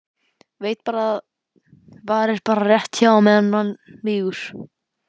Veit að það varir bara rétt á meðan hann mígur.